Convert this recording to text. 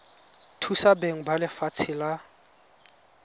thusa beng ba lefatshe la